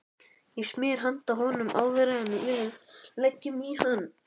Ég smyr handa honum áður en við leggjum í hann.